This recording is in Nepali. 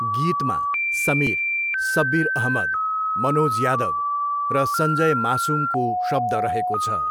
गीतमा समिर, सब्बिर अहमद, मनोज यादव र सञ्जय मासुमको शब्द रहेको छ।